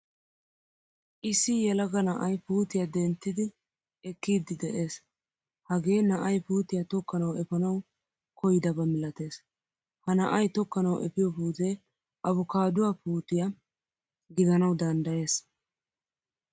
Issi yelaga na'ay puutiyaa denttidi ekiidi de'ees. Hagee na'ay puutiyaa tokkanawu efanawu koyidaba milatees. Ha na'aay tokkanawu efiyo puutee avokaduwaa puutiyaa gidanawu danddayees.